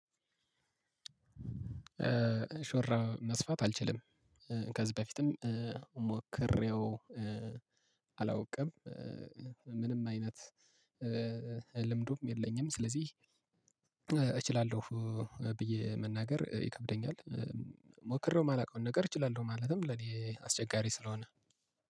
ሾራ መስፋት አልችልም። ከዚህ በፊትም ሞክሬው አላውቅም። ምንም አይነት ልምዱም የለኝም። ስለዚህ እችላለሁ ብዬ መናገር ይከብደኛል። ሞክሬው የማላውቀውን ነገር እችላለሁ ማለትም ለኔ አስቸጋሪ ስለሆነ